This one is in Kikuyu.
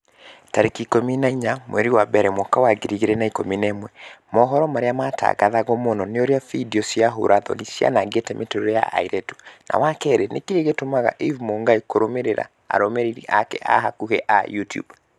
tarĩki ikũmi na inya mweri wa mbere mwaka wa ngiri igĩrĩ na ikũmi na ĩmwe mohoro marĩa maratangatwo mũno ni ũrĩa findio cia ũũra-thoni cianangĩte mĩtũrĩre ya airĩtu wa kerĩ nĩkĩĩ gĩtũmaga eve mũngai kũrũmĩrĩra arũmĩrĩri ake a hakuhi a YouTUBE